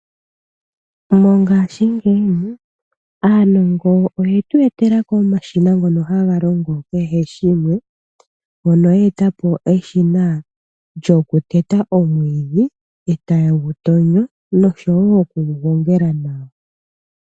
Mongaashingeyi aanongo oyetu etelako omashina ngono haga longo kehe shimwe. Mono ya etapo eshina lyokuteta omwiidhi, etaye gutonyo, noshowo oku gugongela nawa.